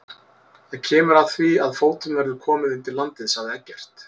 Það kemur að því að fótum verður komið undir landið, sagði Eggert.